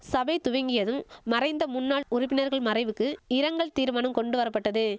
சபை துவங்கியதும் மறைந்த முன்னாள் உறுப்பினர்கள் மறைவுக்கு இரங்கல் தீர்மனம் கொண்டு வரபட்டது